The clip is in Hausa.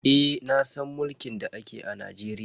Eh nasan mulkin da ake a Najeriya.